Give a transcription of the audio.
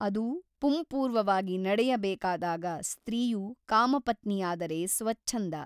ಅದು ಪುಂಪೂರ್ವವಾಗಿ ನಡೆಯಬೇಕಾದಾಗ ಸ್ತ್ರೀಯು ಕಾಮಪತ್ನಿಯಾದರೆ ಸ್ವಚ್ಛಂದ.